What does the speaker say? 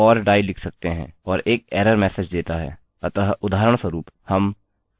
अतः उदाहरणस्वरूप हम couldnt connect लिख सकते हैं